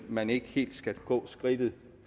man ikke helt skal gå skridtet